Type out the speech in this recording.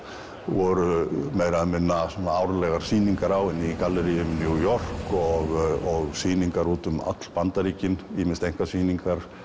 voru meira og minna árlegar sýningar á henni í galleríum í New York og sýningar út um öll Bandaríkin ýmist einkasýningar